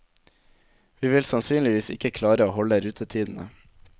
Vi vil sannsynligvis ikke klare å holde rutetidene.